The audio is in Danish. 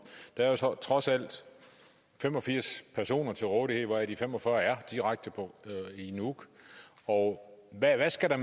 der er trods alt fem og firs personer til rådighed hvoraf de fem og fyrre er i nuuk og hvad mere skal der